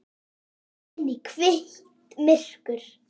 Inn í hvítt myrkur.